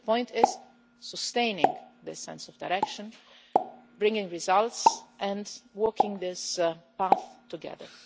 The point is sustaining the sense of direction, bringing results and walking this path together.